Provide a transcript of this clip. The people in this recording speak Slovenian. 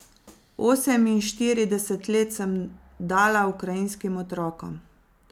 Oseminštirideset let sem dala ukrajinskim otrokom.